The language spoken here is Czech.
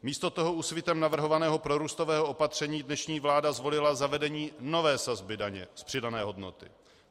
Místo toho Úsvitem navrhovaného prorůstového opatření dnešní vláda zvolila zavedení nové sazby daně z přidané hodnoty.